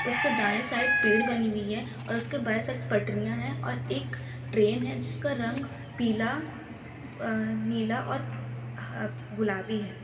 उसके दाएं साइड पेड़ बनी हुई है और उसके बाएं साइड पटरियां हैं और एक ट्रेन है जिसका का रंग पीला अ नीला और आ गुलाबी है।